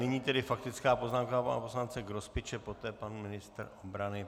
Nyní tedy faktická poznámka pana poslance Grospiče, poté pan ministr obrany.